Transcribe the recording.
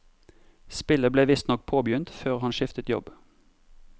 Spillet ble visstnok påbegynt før han skiftet jobb.